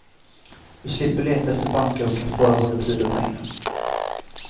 Du slipper leta efter banker och kan spara både tid och pengar.